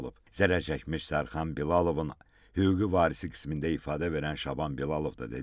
Zərər çəkmiş Sərxan Bilalovun hüquqi varisi qismində ifadə verən Şaban Bilalov da dedi ki,